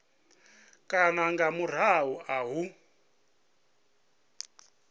kana nga murahu ha u